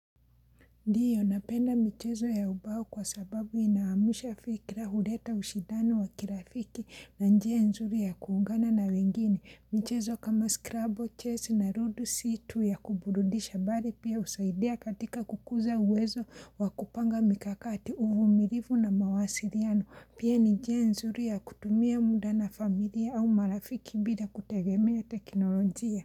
Ndiyo, napenda michezo ya ubao kwa sababu inaamusha fikra huleta ushidani wa kirafiki na njia nzuri ya kuungana na wengine. Michezo kama skrabo, chess na rudo, situ ya kuburudisha bari pia usaidia katika kukuza uwezo wa kupanga mikakati, uvu, mirivu na mawasiriano. Pia ni njia nzuri ya kutumia muda na familia au marafiki bila kutegemea tekinoronjia.